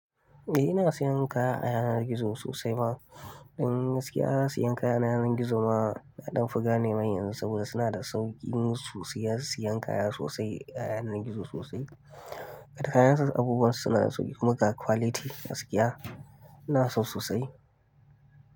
Eh ina sayan kaya a yanar gizo sosai ma. Dan gaskiya sayan kaya a yanar gizo ma an fi gane mai yanzu saboda suna da sauƙin siya, sayan kaya sosai a yanar gizo sosai. Kayan su abubuwan su suna da sauƙi kuma kwality gaskiya, ina san su sosai.